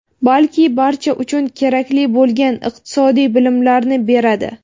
balki barcha uchun kerakli bo‘lgan iqtisodiy bilimlarni beradi.